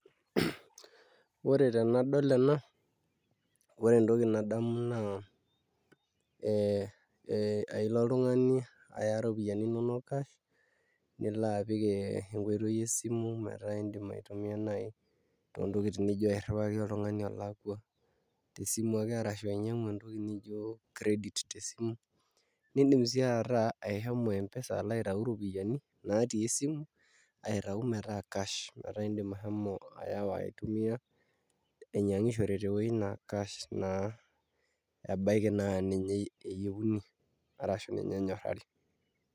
Ore tenadol ena ore entoki nadamu naa ailo oltung'ani aya iropiyiani inonok cash nilo apik enkoitoi esimu metaa iidim aitumiaa naai toontokitin nijio airriwaki oltung'ani olakua tesimu ake arashu inyiang'u entoki nijio credit tesimu niidim sii ataa ashomo M-pesa alo aitau iropiyiani naatii esimu aitau metaa cash metaa iindim ashomo ayawa aitumiaa ainyiang'ishore tewuei naa cash naa ebaiki naa ninye eyieuni arashu ninye enyorrari.